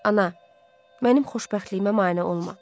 Ana, mənim xoşbəxtliyimə mane olma.